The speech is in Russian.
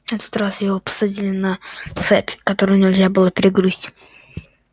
на этот раз его посадили на цепь которую нельзя было перегрызть